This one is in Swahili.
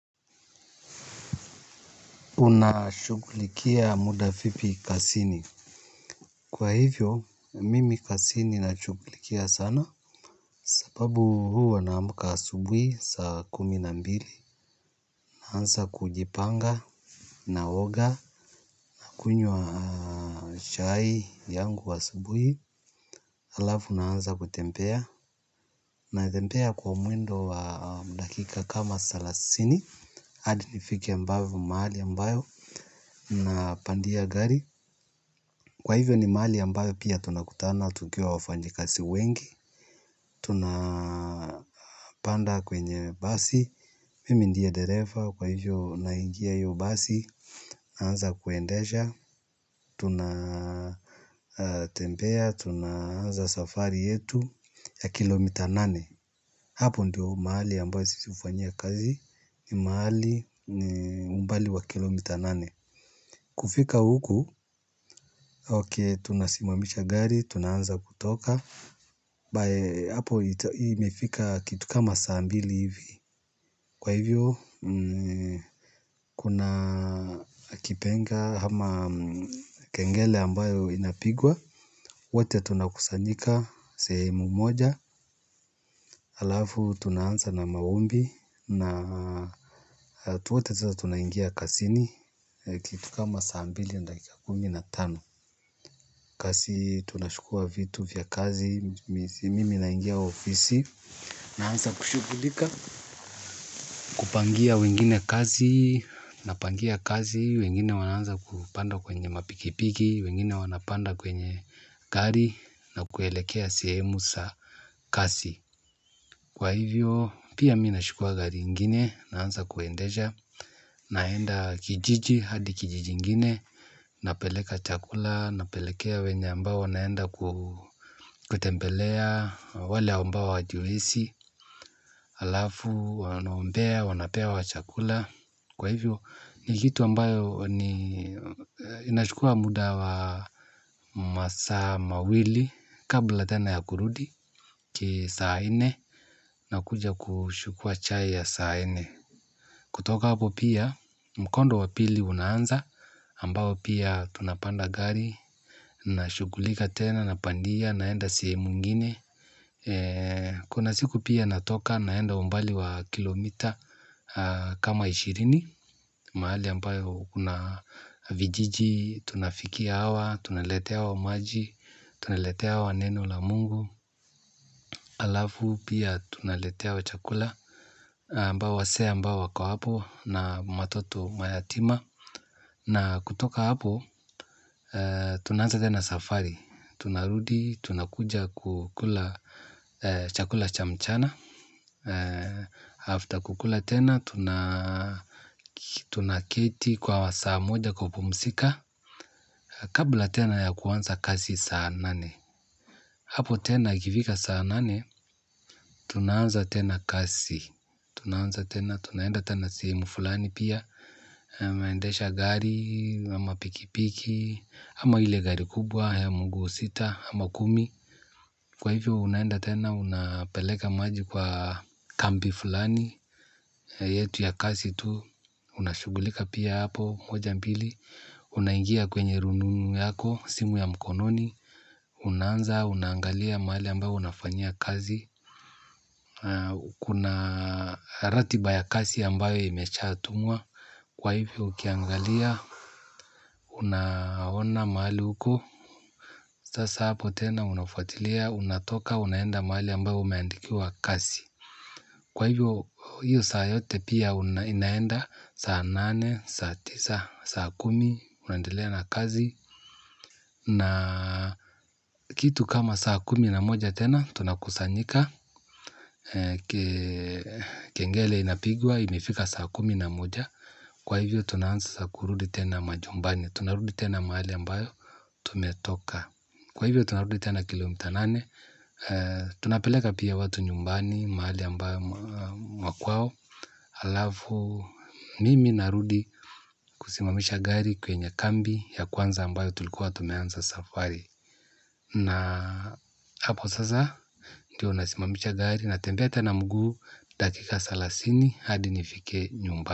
Unashughulikia muda vipi kazini. Kwa hivyo, mimi kazini nashughulikia sana. Sababu huwa naamka asubuhi saa kumi na mbili. Naanza kujipanga. Naoga naunywa chai yangu asubuhi. Halafu naanza kutembea. Natembea kwa mwendo wa dakika kama salasini hadi nifike mbavu mahali ambayo napandia gari. Kwa hivyo ni mahali ambayo pia tunakutana, tukiwa wafanyikazi wengi. Tunapanda kwenye basi. Mimi ndiye dereva, kwa hivyo naingia hiyo basi naanza kuendesha, tunatembea, tunaanza safari yetu ya kilomita nane. Hapo ndio mahali ambayo sisi hufanyia kazi, ni mahali umbali wa kilomita nane. Kufika huku, ok tunasimamisha gari, tunaanza kutoka by hapo imefika kitu kama saa mbili hivi kwa hivyo kuna kipenga hama kengele ambayo inapigwa wote tunakusanyika sehemu moja alafu tunaanza na maombi na watu wote sa tunangia kazini kitu kama saa mbili na dakika kumi na tano kazi tunachukua vitu vya kazi mimi naingia ofisi. Naanza kushughulika, kupangia wengine kazi, napangia kazi, wengine wanaanza kupanda kwenye mapikipiki, wengine wanapanda kwenye gari, na kuelekea sehemu za kazi. Kwa hivyo pia minachukua gari ingine naanza kuendesha naenda kijiji hadi kijiji ingine napeleka chakula napelekea wenye ambao naenda kutembelea wale ambao hawajiwezi alafu wanaombea wanapewa chakula. Kwa hivyo ni kitu ambayo ni inachukua muda wa masaa mawili kabla tena ya kurudi kitu saa nne nakuja kuchukua chai ya saa nne. Kutoka hapo pia mkondo wa pili unaanza ambayo pia tunapanda gari na shughulika tena napandia naenda sehemu ingine. Kuna siku pia natoka naenda umbali wa kilomita kama ishirini. Mahali ambayo kuna vijiji, tunafikia hawa, tunaletewa maji, tuneletewa neno la mungu. Alafu pia tuneletewa chakula ambao wazee ambao wako hapo na matoto mayatima. Na kutoka hapo tunaanza tena safari. Tunarudi, tunakuja kukula chakula cha mchana After kukula tena, tunaketi kwa saa moja kwa pumzika. Kabla tena ya kuanza kazi saa nane. Hapo tena ikifika saa nane, tunaanza tena kazi. Tunaanza tena, tunaenda tena sehemu fulani pia naendesha gari, ama pikipiki ama ile gari kubwa, ya mguu sita, ama kumi. Kwa hivyo, unaenda tena, unapeleka maji kwa kambi fulani yetu ya kazi tu, unashughulika pia hapo, moja mbili. Unaingia kwenye rununu yako, simu ya mkononi. Unaanza, unaangalia mahali ambayo unafanyia kazi kuna ratiba ya kazi ambayo imeshatumwa kwaivo ukiangalia unaona mahali uko. Sasa hapo tena, unafuatilia, unatoka, unaenda mahali ambayo umeandikiwa kazi. Kwa hivyo hiyo saa yote pia inaenda saa nane, saa tisa, saa kumi unaendelea na kazi. Na kitu kama saa kumi na moja tena tunakusanyika. Kengele inapigwa imefika saa kumi na moja. Kwa hivyo tunaanza kurudi tena majumbani. Tunarudi tena mahali ambayo tumetoka. Kwa hivyo tunarudi tena kilomita nane. Tunapeleka pia watu nyumbani mahali ambayo makwao. Alafu mimi narudi kusimamisha gari kwenye kambi ya kwanza ambayo tulikuwa tumeanza safari. Na hapo sasa, ndiyo nasimamisha gari. Natembea tena mguu, dakika salasini, hadi nifike nyumbani.